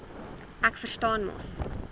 ek verstaan mos